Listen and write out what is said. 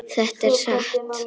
Þetta er satt!